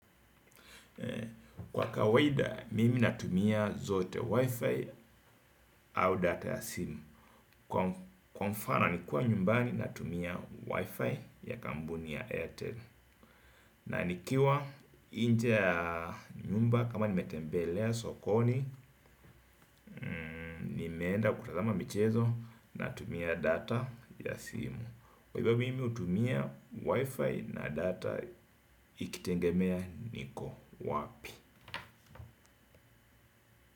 Kwa kawaida mimi natumia zote wifi au data ya simu. Kwa mfano nikiwa nyumbani natumia wifi ya kampuni ya Airtel. Na nikiwa nje ya nyumba kama nimetembelea sokoni. Nimeenda kutazama michezo natumia data ya simu. Kwa hivyo mimi utumia wifi na data ikitengemea niko wapi.